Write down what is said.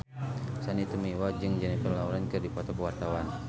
Sandy Tumiwa jeung Jennifer Lawrence keur dipoto ku wartawan